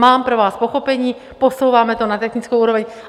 Mám pro vás pochopení, posouváme to na technickou úroveň.